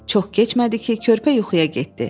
Çox keçmədi ki, körpə yuxuya getdi.